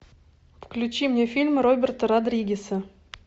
включи мне фильм роберта родригеса